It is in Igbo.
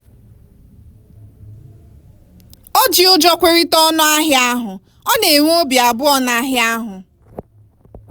o ji ụjọ kwerịta ọnụ ahịa ahụ ọ na-enwe obị abụọ n'ahịa ahụ.